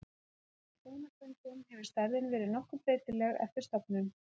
Samkvæmt beinafundum hefur stærðin verið nokkuð breytileg eftir stofnum.